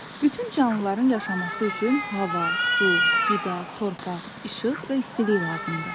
Bütün canlıların yaşaması üçün hava, su, qida, torpaq, işıq və istilik lazımdır.